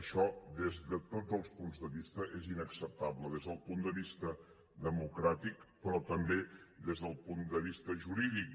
això des de tots els punts de vista és inacceptable des del punt de vista democràtic però també des del punt de vista jurídic